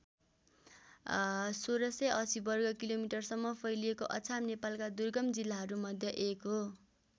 १६८० वर्ग किलोमिटरसम्म फैलिएको अछाम नेपालका दुर्गम जिल्लाहरू मध्ये एक हो।